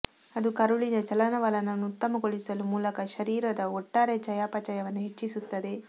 ಅದು ಕರುಳಿನ ಚಲನವಲನವನ್ನು ಉತ್ತಮಗೊಳಿಸುವ ಮೂಲಕ ಶರೀರದ ಒಟ್ಟಾರೆ ಚಯಾಪಚಯವನ್ನು ಹೆಚ್ಚಿಸುತ್ತದೆ